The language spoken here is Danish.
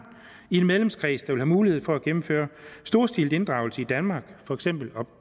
i en medlemskreds der mulighed for at gennemføre en storstilet inddragelse i danmark for eksempel op